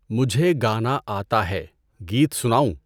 مجھے گانا آتا ہے۔ گیت سناؤں؟